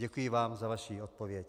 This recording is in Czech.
Děkuji vám za vaši odpověď.